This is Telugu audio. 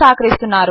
వారు సహకరిస్తున్నారు